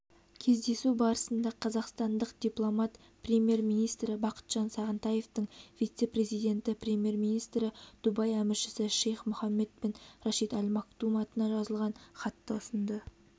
кездесу барысында қазақстандық дипломат премьер-министрі бақытжан сағынтаевтың вице-президенті премьер-министрі дубай әміршісі шейх мухаммед бен рашид аль мактум атына жазылған хатты ұсынды